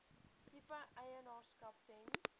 tipe eienaarskap ten